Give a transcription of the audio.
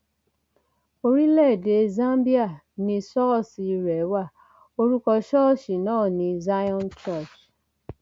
orílẹèdè zambia ni ṣọọṣì rẹ wá orúkọ ṣọọṣì náà ní zion church